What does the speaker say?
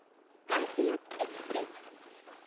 Kaifiyat express